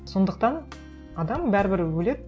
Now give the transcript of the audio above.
сондықтан адам бәрібір өледі